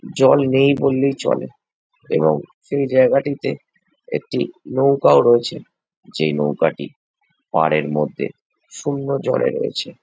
জল নেই বললেই চলে এবং এই জায়গাটিতে একটা নৌকা ও রয়েছে সেই নৌকাটি পারে মধ্যে শূন্য জলে রয়েছে।